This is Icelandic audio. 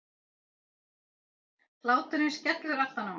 Hláturinn skellur aftan á mér.